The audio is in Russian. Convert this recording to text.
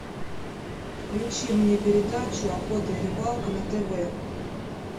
включи мне передачу охота и рыбалка на тв